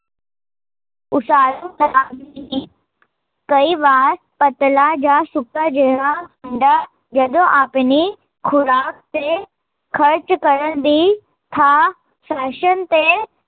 ਉਸਾਰੂ ਕਈ ਵਾਰ ਪਤਲਾ ਯਾ ਸੁੱਕਾ ਜਿਹਾ ਮੁੰਡਾ, ਜਦੋਂ ਆਪਣੀ, ਖੁਰਾਕ ਤੇ ਖਰਚ ਕਰਨ ਦੀ, ਥਾਂ ਫੈਸ਼ਨ ਤੇ